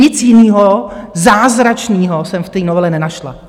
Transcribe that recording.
Nic jiného zázračného jsem v té novele nenašla.